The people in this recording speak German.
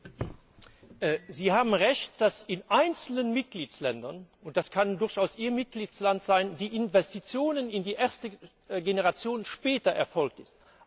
Herr Grzyb! Sie haben Recht, dass in einzelnen Mitgliedstaaten, und das kann durchaus Ihr Mitgliedstaat sein, die Investitionen in die erste Generation später erfolgt sind.